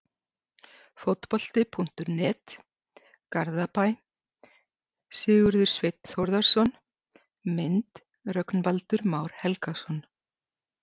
Fótbolti.net, Garðabæ- Sigurður Sveinn Þórðarson Mynd: Rögnvaldur Már Helgason